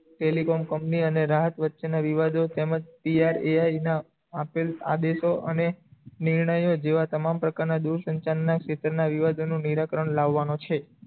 telecom company અને રાહત વચ્ચે ના વિવાદો તમજ ટી આર એ આઈ ના આદેશો અને નિર્ણયો જેવા તમામ પ્રકાર ના દુર સંસાર ના ખેતર ના વિવાદો નિરાકરણ લાવાનું છે